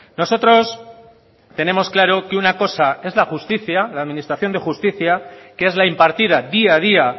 nosotros tenemos claro que una cosa es la justicia la administración de justicia que es la impartida día a día